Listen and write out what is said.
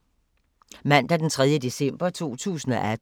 Mandag d. 3. december 2018